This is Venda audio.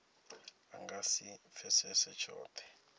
a nga si pfesese tshothe